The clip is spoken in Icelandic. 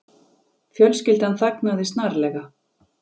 Fjölskyldan þagnaði snarlega.